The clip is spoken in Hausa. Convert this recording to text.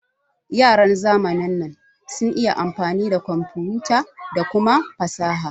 Yaran zamanin nan sun iya amfani da komfuta da kuma fasaha